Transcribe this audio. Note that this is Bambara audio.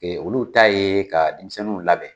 Olu ta ye ka denmisɛnninw labɛn.